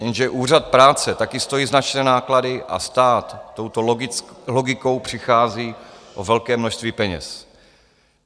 Jenže Úřad práce také stojí značné náklady a stát touto logikou přichází o velké množství peněz.